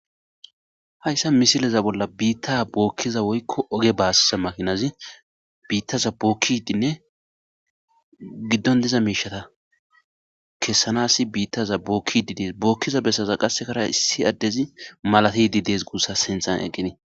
hayssa misileza bolla biitta bookkiza woykko oge baasza makinazi biittaza bookkidinne giddon diza miishata kessanasi biittaza bookkididees bookkiza bessaza qassekara issi addezi malati di dees gussa sinthan eqqinii